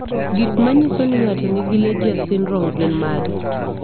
Gik manyiso ni ng'ato nigi Legius syndrome gin mage?